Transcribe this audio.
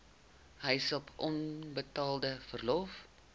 huishulp onbetaalde verlof